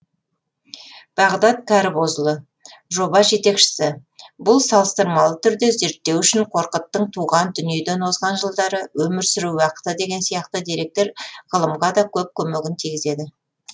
бағдат кәрібозұлы жоба жетекшісі бұл салыстырмалы түрде зерттеу үшін қорқыттың туған дүниеден озған жылдары өмір сүру уақыты деген сияқты деректер ғылымға да көп көмегін тигізеді